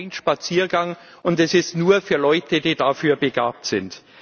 Das ist kein Spaziergang, und es ist nur für Leute, die dafür begabt sind.